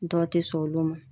Dɔw te sɔn olu ma.